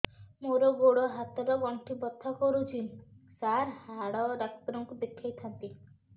ମୋର ଗୋଡ ହାତ ର ଗଣ୍ଠି ବଥା କରୁଛି ସାର ହାଡ଼ ଡାକ୍ତର ଙ୍କୁ ଦେଖାଇ ଥାନ୍ତି